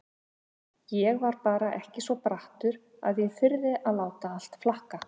Ég var bara ekki svo brattur að ég þyrði að láta allt flakka.